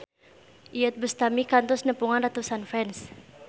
Iyeth Bustami kantos nepungan ratusan fans